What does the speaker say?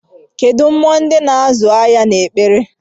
Kedụ mmụọ ndị na-azụ ahịa na-ekpere?